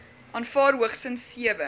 aanvaar hoogstens sewe